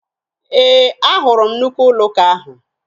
Ee, ahụrụ m nnukwu ụlọụka ahụ.